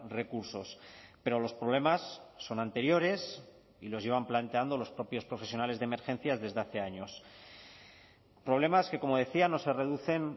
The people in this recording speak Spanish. recursos pero los problemas son anteriores y los llevan planteando los propios profesionales de emergencias desde hace años problemas que como decía no se reducen